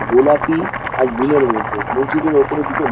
গোলাপী আর নীলের মধ্যে মসজিদের উপরে দুটো--